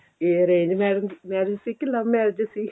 ਇਹ arrange marriage marriage ਸੀ ਕਿ love marriage ਸੀ